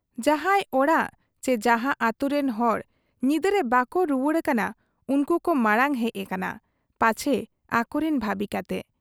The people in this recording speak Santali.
ᱡᱟᱦᱟᱸᱭ ᱚᱲᱟᱜ ᱪᱤ ᱡᱟᱦᱟᱸ ᱟᱹᱛᱩᱨᱤᱱ ᱦᱚᱲ ᱧᱤᱫᱟᱹᱨᱮ ᱵᱟᱠᱚ ᱨᱩᱣᱟᱹᱲ ᱟᱠᱟᱱᱟ, ᱩᱱᱠᱩ ᱠᱚ ᱢᱟᱬᱟᱝ ᱦᱮᱡ ᱠᱟᱱᱟ ᱯᱟᱪᱷᱮ ᱟᱠᱚᱨᱤᱱ ᱵᱷᱟᱹᱵᱤ ᱠᱟᱛᱮ ᱾